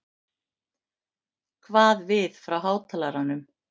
kvað við frá hátalaranum.